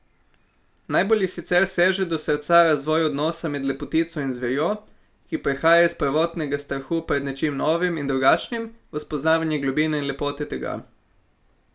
Najbolj ji sicer seže do srca razvoj odnosa med lepotico in zverjo, ki prehaja iz prvotnega strahu pred nečim novim in drugačnim v spoznavanje globine in lepote tega.